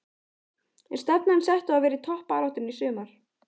Er stefnan sett á að vera í toppbaráttunni í sumar?